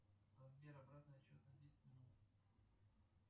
сбер обратный отсчет на десять минут